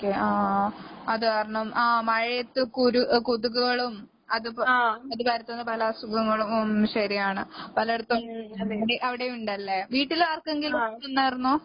Okay ആഹ് ആഹ് ആഹ്. അത് കാരണം ആഹ് മഴയത്ത് കുരു ഏ കൊതുകുകളും, അതുപ അത് പരത്തുന്ന പല അസുഖങ്ങളും, ഉം ശെരിയാണ്. പലേടത്തും അവടേം ഉണ്ടല്ലേ? വീട്ടിലാർക്കെങ്കിലും വന്നാർന്നോ?